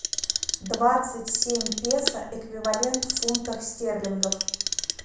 двадцать семь песо эквивалент в фунтах стерлингах